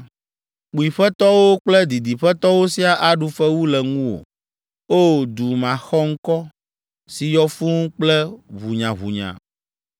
Kpuiƒetɔwo kple didiƒetɔwo siaa aɖu fewu le ŋuwò. O! Du maxɔŋkɔ, si yɔ fũu kple ʋunyaʋunya.